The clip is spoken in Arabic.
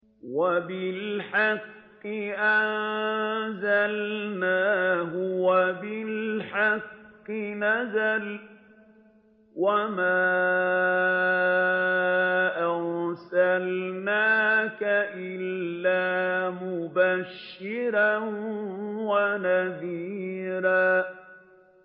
وَبِالْحَقِّ أَنزَلْنَاهُ وَبِالْحَقِّ نَزَلَ ۗ وَمَا أَرْسَلْنَاكَ إِلَّا مُبَشِّرًا وَنَذِيرًا